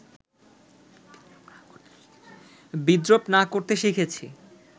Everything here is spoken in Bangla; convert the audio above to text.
বিদ্রূপ না করতে শিখেছি